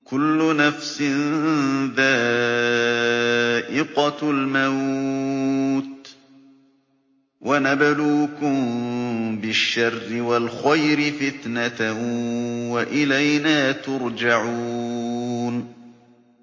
كُلُّ نَفْسٍ ذَائِقَةُ الْمَوْتِ ۗ وَنَبْلُوكُم بِالشَّرِّ وَالْخَيْرِ فِتْنَةً ۖ وَإِلَيْنَا تُرْجَعُونَ